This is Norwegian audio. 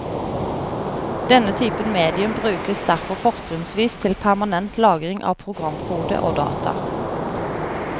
Denne typen medium brukes derfor fortrinnsvis til permanent lagring av programkode og data.